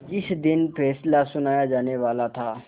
जिस दिन फैसला सुनाया जानेवाला था